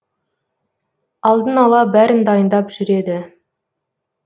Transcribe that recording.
алдын ала бәрін дайындап жүреді